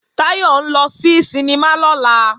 Táyọ̀ ń lọ sí sinimá lọ́la